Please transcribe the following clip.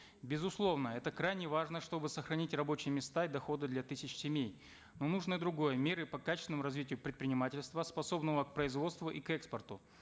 безусловно это крайне важно чтобы сохранить рабочие места и дохода для тысяч семей но нужны другие меры по качественному развитию предпринимательства способного к производству и к экспорту